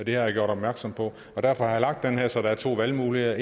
jeg gjort opmærksom på og derfor har jeg lavet det her så der er to valgmuligheder